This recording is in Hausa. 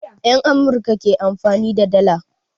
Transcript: Yan Amurka ke amfani da dalla